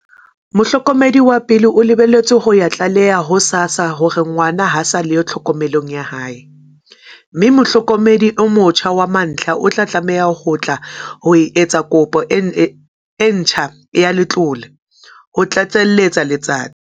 "Mohlokomedi wa pele o lebeletswe ho ya tlaleha ho SASSA hore ngwana ha a sa le tlhokomelong ya hae, mme mohlokomedi e motjha wa mantlha o tlameha ho tla ho etsa kopo e ntjha ya letlole," ho tlatseletsa Letsatsi.